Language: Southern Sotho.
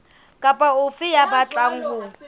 kapa ofe ya batlang ho